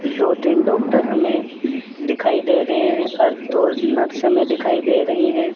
दो तीन डॉक्टर हमें दिखाई दे रहे हैं और दो नर्स हमें दिखाई दे रही हैं।